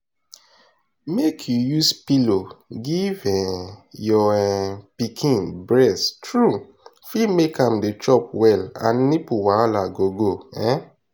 make you use pillow give um your um pikin breast true fit make am dey chop well and nipple wahala go go um